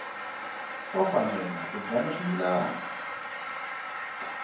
wa mfanelo yo byala swimila